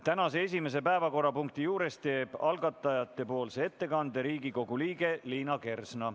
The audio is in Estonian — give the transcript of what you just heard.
Tänase esimese päevakorrapunkti juures teeb algatajatepoolse ettekande Riigikogu liige Liina Kersna.